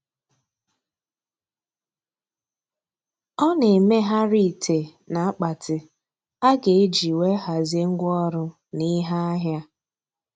Ọ na-emegharị ite na akpati a ga-eji wee hazie ngwa ọrụ na ihe ahịa.